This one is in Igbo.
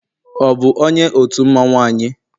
ọ bu onye otu mmanwu anyị?